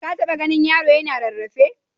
Ka taɓa ganin yaro yana rarrafe?